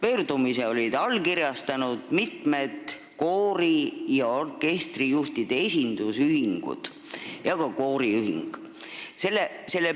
Selle on allkirjastanud mitmed koori- ja orkestrijuhtide esindusühingud ja ka kooriühing.